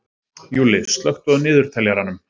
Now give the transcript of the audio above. Júlli, slökktu á niðurteljaranum.